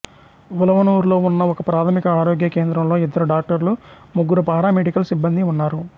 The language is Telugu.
వులవనూర్లో ఉన్న ఒకప్రాథమిక ఆరోగ్య కేంద్రంలో ఇద్దరు డాక్టర్లు ముగ్గురు పారామెడికల్ సిబ్బందీ ఉన్నారు